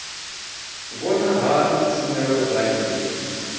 vhona hani tshumelo dza nnyi